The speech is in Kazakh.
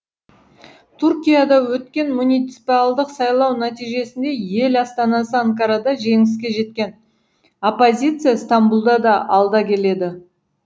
түркияда өткен муниципиалдық сайлау нәтижесінде ел астанасы анкарада жеңіске жеткен оппозиция стамбұлда да алда келеді